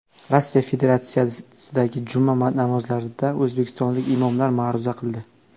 Rossiya Federatsiyasidagi juma namozlarida o‘zbekistonlik imomlar ma’ruza qildi.